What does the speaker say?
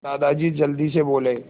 दादाजी जल्दी से बोले